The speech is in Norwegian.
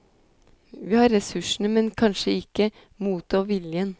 Vi har ressursene, men kanskje ikke motet og viljen.